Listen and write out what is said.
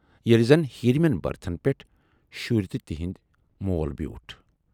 ییلہِ زَن ہیرِمٮ۪ن بٔرتھن پٮ۪ٹھ شُرۍ تہٕ تِہُند مول بیوٗٹھ۔